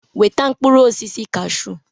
Weta mkpụrụ osisi kasshu!